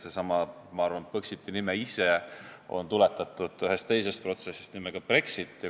Seesama Põxiti nimi ise on tuletatud, ma arvan, ühe teise protsessi nimest, Brexitist.